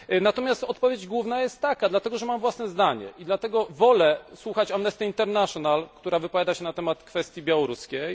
Natomiast odpowiedź główna jest taka dlatego, że mam własne zdanie, i dlatego, że wolę słuchać Amnesty International, która wypowiada się na temat kwestii białoruskiej.